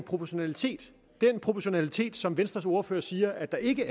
proportionalitet den proportionalitet som venstres ordfører siger at der ikke